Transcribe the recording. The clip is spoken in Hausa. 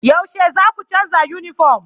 Yaushe zaku canza yunifom?